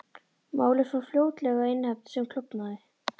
Málið fór fljótlega í nefnd sem klofnaði.